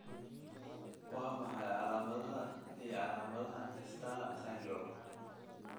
Waa maxay calaamadaha iyo calaamadaha STAR syndrome?